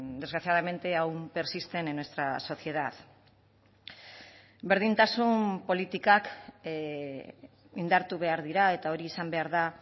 desgraciadamente aún persisten en nuestra sociedad berdintasun politikak indartu behar dira eta hori izan behar da